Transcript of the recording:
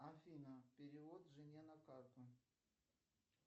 афина перевод жене на карту